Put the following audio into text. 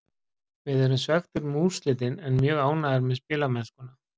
Við erum svekktir með úrslitin en mjög ánægðir með spilamennskuna.